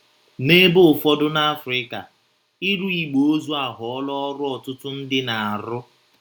N’ebe ụfọdụ n’Africa, ịrụ igbe ozu aghọọla ọrụ ọtụtụ ndị na - arụ.